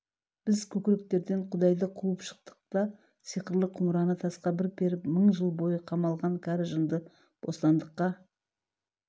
біз көкіректерден құдайды қуып шықтық та сиқырлы құмыраны тасқа бір періп мың жыл бойы қамалған кәрі жынды бостандыққа